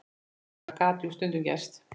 Það gat jú stundum gerst!